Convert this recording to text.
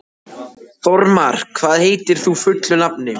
Þormar, hvað heitir þú fullu nafni?